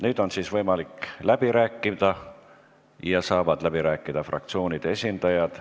Nüüd on võimalik läbi rääkida ja läbi rääkida saavad fraktsioonide esindajad.